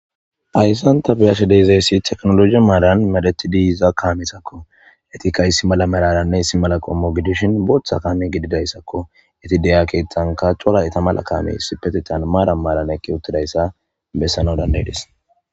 Hayssan ta biyashi deizayssi teknologi maaran medeti diyiza kaamesakko etikayssi mala meraranne issi mala qommo gidishin bootha kaami gididayssakko eti deya keetanka xora eta mala kaami issipetethan maaran maalan ekki uttidayssa bessanao dandedes.